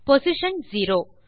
position zero